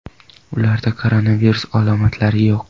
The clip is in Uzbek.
Ularda koronavirus alomatilari yo‘q.